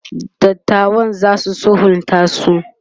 dattawan zasu sulhunta su?